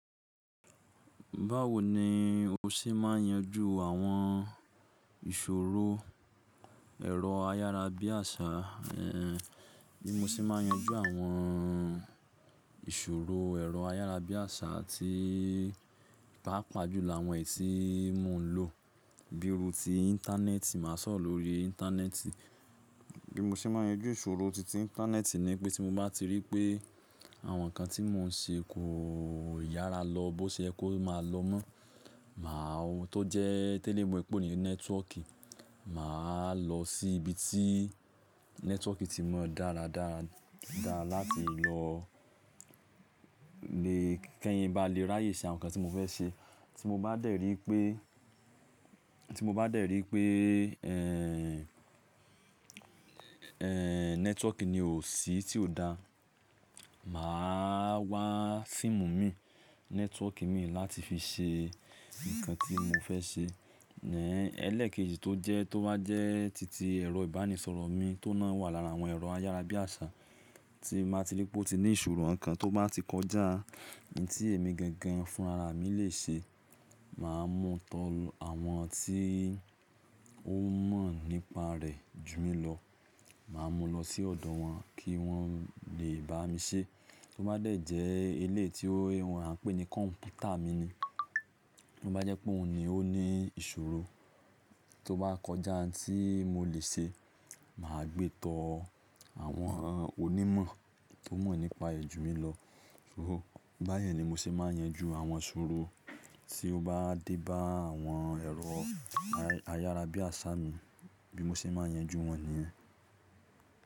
Báwo ni o ṣe máa ń yanjú àwọn ìṣòro ẹ̀rọ ayárabíàṣá, bí mo ṣe máa ń yanjú àwọn ìṣòro ẹ̀rọ ayárabíàṣá tí pàápàá jù lọ àwọn èyí tí mò ń lò bíi iru tì Íńtánẹ́ẹ̀tì, màá sọ̀rọ̀ lórí Íńtánẹ́ẹ̀tì. Bí mo ṣe máa ń yanjú ìṣòro titi Íńtánẹ́ẹ̀tì ni pé tí mo bá ti rí pé àwọn nǹkan tí mò ń ṣe kò yára lọ bó ṣe ẹ kó máa lọ mọ́, tó jẹ́ tele mo pé òní nẹ́tíwọ́ọ̀kì, màá lọ sí ibi tí nẹ́tíwọ́ọ̀kì tí mọ dáradára dára láti lọ, kí ẹ̀yan ba lè ráyè ṣe àwọn nǹkan tí mo fẹ́ ṣe. Tí mo bá dẹ̀ rí pé, tí mo bá dẹ̀ rí pé, nẹ́tíwọ́ọ̀kì ni ò sí tí ò da, màá wá fíìmù mi, nẹ́tíwọ́ọ̀kì mi láti fi ṣe nǹkan tí mo fẹ́ ṣe. Ẹlẹ́ẹ̀kejì tó wá jẹ́ titi ẹ̀rọ ìbánisọ̀rọ̀ mi tió ohun ná wà lára àwọn ẹ̀rọ ayárabíàṣá, tí màá ti rí pé ó ti ní ìṣòro nǹkan tó bá ti kọjá, ohun tí èmi gangan fún ara mi lè ṣe, màá mú tán àwọn tí ó mọ̀ nípa rẹ̀ jù mí lọ, màá mú lọ sí ọ̀dọ̀ wọn kí wọ́n lè bá mi ṣe. Tí ó bá dẹ̀ jẹ́ eléyìí ti a n pè ní kọ̀ǹpútà mi ni, tí ó bá jẹ́ pé òun ni ó ní ìṣòro tó bá kọjá ohun tí mo lè ṣe, mà á gbé tán àwọn onímọ̀, tió mọ̀ nípa rẹ̀ jù mí lọ. Bá yẹn ni mo ṣe máa ń yanjú àwọn ìṣòro tí ó bá dé bá àwọn ẹ̀rọ ayárabíàṣá mi, bí mo ṣe máa ń yanjú wọn nìyẹn.